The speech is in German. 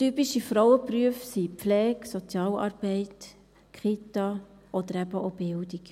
Typische Frauenberufe sind Pflege, Sozialarbeit, Kita oder eben auch Bildung.